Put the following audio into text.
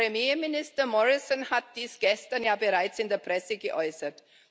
Premierminister Morrison hat dies gestern ja bereits in der Presse geäußert.